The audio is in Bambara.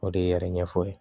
O de ye yɛrɛ ɲɛfɔ ye